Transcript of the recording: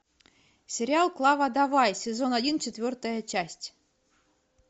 сериал клава давай сезон один четвертая часть